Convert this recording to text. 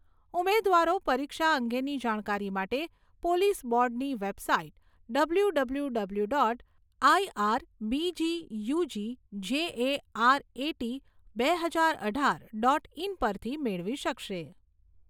ઉમેદવારો પરીક્ષા અંગેની જાણકારી માટે પોલીસ બોર્ડની website W W W dot આઈઆરબીજીયુજીજેએઆરએટી બે હજાર અઢાર ડોટ ઇન પરથી મેળવી શકશે.